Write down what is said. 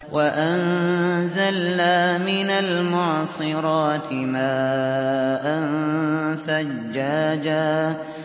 وَأَنزَلْنَا مِنَ الْمُعْصِرَاتِ مَاءً ثَجَّاجًا